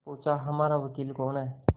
पूछाहमारा वकील कौन है